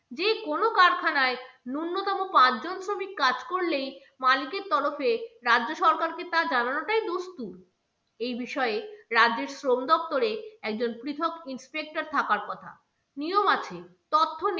কোনো কারখানায় ন্যূনতম পাঁচ জন শ্রমিক কাজ করলেই মালিকের তরফে রাজ্য সরকারকে তা জানানোটাই দস্তুর। এই বিষয়ে রাজ্যের শ্রম দপ্তরে একজন পৃথক inspector থাকার কথা। নিয়ম আছে, তথ্য